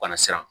Kana siran